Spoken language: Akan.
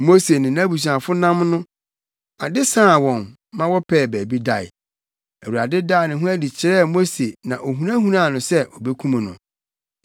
Mose ne nʼabusuafo nam no, ade saa wɔn ma wɔpɛɛ baabi dae. Awurade daa ne ho adi kyerɛɛ Mose na ohunahunaa no sɛ obekum no.